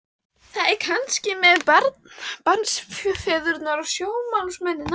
Það er kannski eins með barnsfeðurna og stjórnmálamennina.